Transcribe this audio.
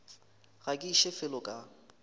ga ke iše felo ka